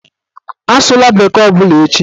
Asụla bekee ọbụla echi!